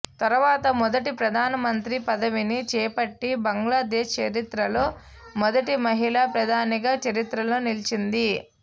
తరువాత మొదటి ప్రధానమంత్రి పదవిని చేపట్టి బంగ్లాదేశ్ చరిత్రలో మొదటి మహిళా ప్రధానిగా చరిత్రలో నిలిచింది